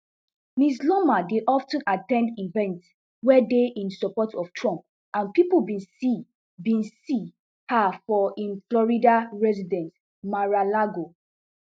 ms loomer dey of ten at ten d events wey dey in support of trump and pipo bin see bin see her for im florida residence maralago